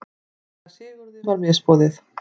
Síra Sigurði var misboðið.